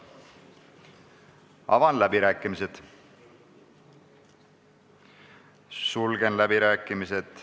Avan läbirääkimised, sulgen läbirääkimised.